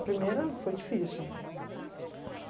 A primeira foi difícil.